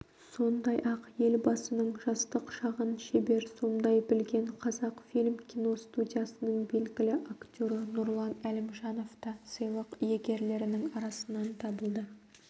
сондай-ақ елбасының жастық шағын шебер сомдай білген қазақ-фильм киностудиясының белгілі актері нұрлан әлімжанов та сыйлық иегерлерінің арасынан табылды